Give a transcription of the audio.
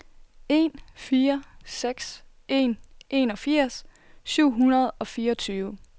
en fire seks en enogfirs syv hundrede og fireogtyve